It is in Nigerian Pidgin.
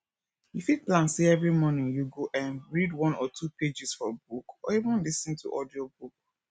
you fit plan sey every morning you go um read one or two pages for book or even lis ten to audiobook